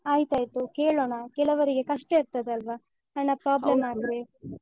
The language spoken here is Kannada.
ಆಯ್ತ್ಆಯ್ತು ಕೇಳೋಣ. ಕೆಲವರಿಗೆ ಕಷ್ಟ ಇರ್ತದಲ್ವ ಹಣ problem ಆದ್ರೆ?